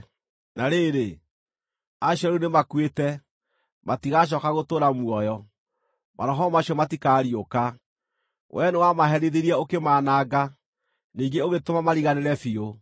Na rĩrĩ, acio rĩu nĩmakuĩte, matigacooka gũtũũra muoyo; maroho macio matikariũka. Wee nĩwamaherithirie ũkĩmaananga; ningĩ ũgĩtũma mariganĩre biũ.